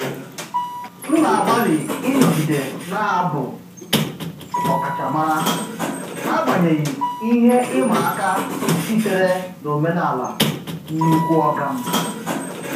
M na-agbalị ịnọgide na-abụ ọkachamara n'agbanyeghị ihe ịma aka sitere n'omenala "nnukwu oga m".